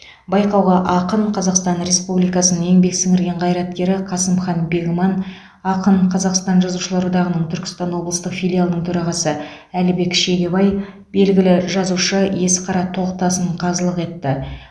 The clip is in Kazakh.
байқауға ақын қазақстан республикасы еңбек сіңірген қайраткері қасымхан бегман ақын қазақстан жазушылар одағының түркістан облыстық филиалының төрағасы әлібек шегебай белгілі жазушы есқара тоқтасын қазылық етті